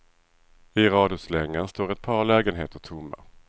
I radhuslängan står ett par lägenheter tomma.